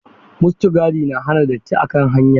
Mustagadi na hana datti a kan hanya.